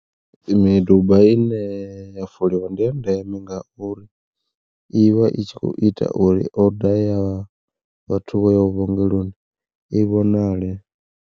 Miduba ine ya foliwa ndi ya ndeme ngauri, i vha i tshi kho ita uri oda ya vhathu vho yaho vhuongeloni i vhonale.